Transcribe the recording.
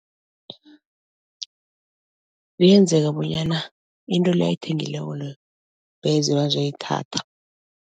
Kuyenzeka bonyana into le ayithengileko leyo beze bazoyithatha.